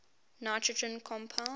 nitrogen compounds